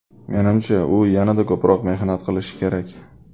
Menimcha, u yanada ko‘proq mehnat qilishi kerak.